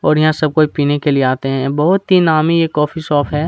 और यहाँ सब कोई पीने के लिए आते है बहुत ही नामी ये कोफ़ी शॉप है।